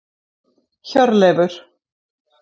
Hjörleifur